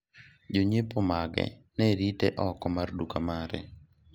jonyiepo mage ne rite oko mar duka mare